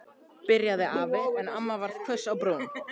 byrjaði afi en amma varð hvöss á brún.